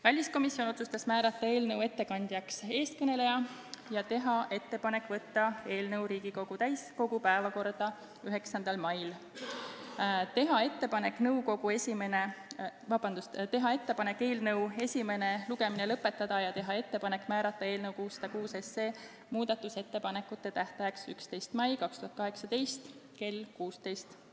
Väliskomisjon otsustas määrata eelnõu ettekandjaks siin kõneleja ja teha ettepaneku saata eelnõu Riigikogu täiskogu päevakorda 9. maiks, teha ettepaneku eelnõu esimene lugemine lõpetada ja teha ettepaneku määrata eelnõu 606 muudatusettepanekute esitamise tähtajaks 11. mai 2018 kell 16.